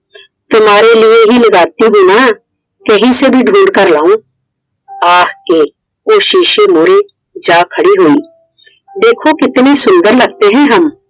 तुम्हारे लिए ही लगाती हु न कही से भी ढूंढ कर लाऊँ । ਆਖ ਕੇ ਉਹ ਸ਼ੀਸ਼ੇ ਮੂਹਰੇ ਜਾ ਖੜੀ ਹੋਈ I देखो कितने सूंदर लगते है हम ।